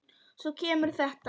Svo kemur þetta